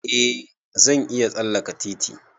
Eh zan iya tsalleke titi.